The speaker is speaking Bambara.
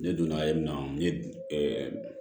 Ne donna ye min na n ye